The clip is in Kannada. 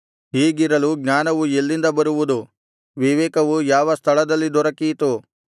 ಹೀಗಿರಲು ಜ್ಞಾನವು ಎಲ್ಲಿಂದ ಬರುವುದು ವಿವೇಕವು ಯಾವ ಸ್ಥಳದಲ್ಲಿ ದೊರಕೀತು